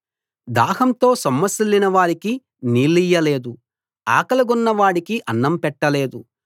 దాహంతో సొమ్మసిల్లిన వారికి నీళ్లియ్యలేదు ఆకలిగొన్న వాడికి అన్నం పెట్టలేదు